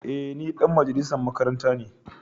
Eh ni dan majalisan makaranta ne.